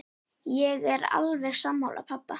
Ég er alveg sammála pabba.